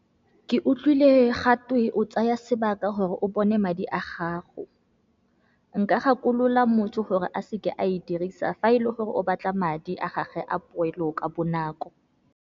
Ke utlwile gatwe o tsaya sebaka gore o bone madi a gago, nka gakolola motho gore a seke a e dirisa fa e le gore o batla madi a gage a poelo ka bonako.